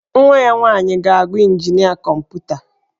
Nwa ya nwaanyị ga-agụ injinia kọmputa.